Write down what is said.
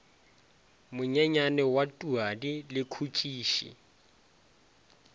monyenyane wa tuadi le khutšiši